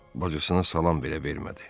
Bacısına salam belə vermədi.